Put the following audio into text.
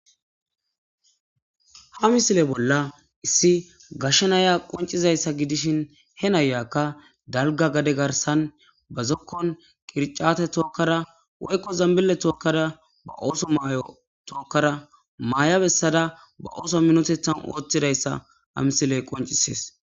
Ha misile bolla issi gashshenaya qoncizayssa gidishin he nayakka dalga gade garsan ba zokkon qircate tookkara woykko zambile tookkada ba ooso maay'o tookkara maayabessada ba ooso minotethan ooththidayssa ha misiley qoncisees